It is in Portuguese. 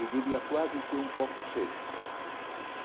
Eu diria quase que um pouco seco.